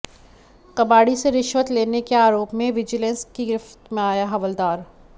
कबाड़ी से रिश्वत लेने के आरोप में विजिलेंस की गिरफ्त में आया हवलदार